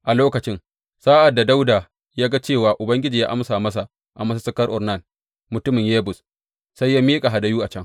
A lokacin, sa’ad da Dawuda ya ga cewa Ubangiji ya amsa masa a masussukar Ornan mutumin Yebus, sai ya miƙa hadayu a can.